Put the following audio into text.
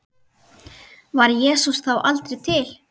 Var Jesús þá aldrei til?